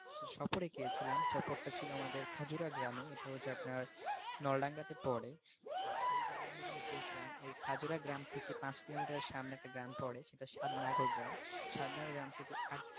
এ গিয়েছিলাম টা ছিল আমাদের ছাপুরা গ্রামে এটা ছিল আপনার নলডাঙ্গাতে পড়ে তো এই গ্রামে আমি যেদিন গেছিলাম তো ওই খাজ্রা গ্রাম থেকে পাঁচ কিলোমিটার সামনে একটা গ্রাম পোরে সেটা সাতনাগর গ্রাম সেই সাতনগর গ্রাম থেকে আট,